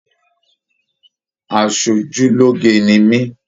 Asojuloge ni mi.